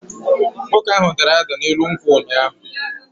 Nwoke ahu dara da n'elu nkwụ ụnyahụ